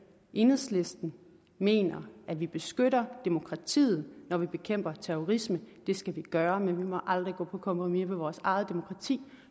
enhedslisten mener at vi beskytter demokratiet når vi bekæmper terrorisme det skal vi gøre men vi må aldrig gå på kompromis med vores eget demokrati